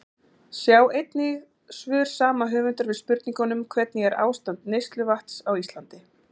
Sjá einnig svör sama höfundar við spurningunum: Hvernig er ástand neysluvatns á Íslandi?